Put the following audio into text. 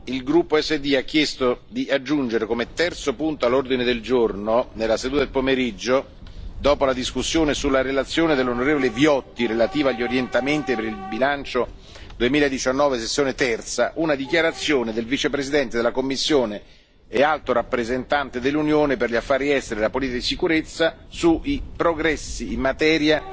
Il gruppo SD ha chiesto di aggiungere, come terzo punto all'ordine del giorno di martedì pomeriggio, dopo la discussione sulla relazione dell'onorevole Viotti relativa agli Orientamenti per il bilancio 2019 Sezione III, una dichiarazione del Vicepresidente della Commissione Alto rappresentante dell'Unione per gli affari esteri e la politica di sicurezza su I progressi in materia